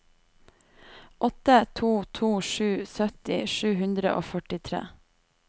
åtte to to sju sytti sju hundre og førtitre